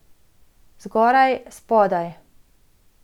Zgoraj, spodaj.